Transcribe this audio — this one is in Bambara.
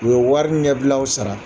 U ye wari ɲɛbilaw sara.